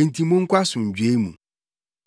Enti monkɔ asomdwoe mu.”